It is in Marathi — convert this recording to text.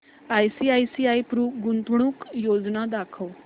आयसीआयसीआय प्रु गुंतवणूक योजना दाखव